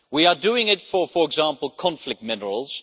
We are doing it, for example, for conflict minerals.